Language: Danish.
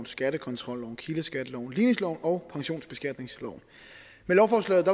skattekontrolloven kildeskatteloven ligningsloven og pensionsbeskatningsloven med lovforslaget